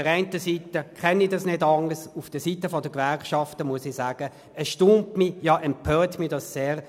Einerseits kenne ich das nicht anders, aber vonseiten der Gewerkschaften erstaunt und empört mich das sehr.